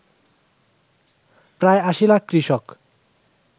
প্রায় ৮০ লাখ কৃষক